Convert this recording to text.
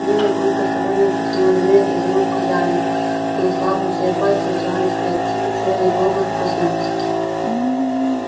белый клык осторожно потянул ремень из рук хозяина но ослабевшие пальцы сжались крепче и серый бобр проснулся